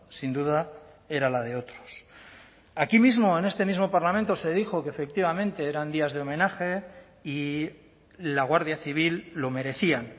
sin duda era la de otros aquí mismo en este mismo parlamento se dijo que efectivamente eran días de homenaje y la guardia civil lo merecían